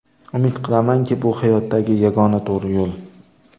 Umid qilamanki, bu hayotdagi yagona to‘g‘ri yo‘l.